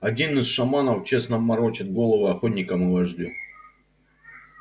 один из шаманов честно морочит головы охотникам и вождю